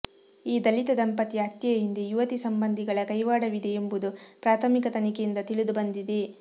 ಈ ದಲಿತ ದಂಪತಿಯ ಹತ್ಯೆಯ ಹಿಂದೆ ಯುವತಿ ಸಂಬಂಧಿಗಳ ಕೈವಾಡವಿದೆ ಎಂಬುದು ಪ್ರಾಥಮಿಕ ತನಿಖೆಯಿಂದ ತಿಳಿದುಬಂದಿದೆ